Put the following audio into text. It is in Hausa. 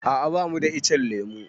A'a bamu da ichen lemu.